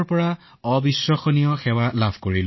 আপোনাৰ আত্মবিশ্বাস যথেষ্ট শক্তিশালী